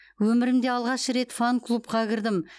өмірімде алғаш рет фан клубқа кірдім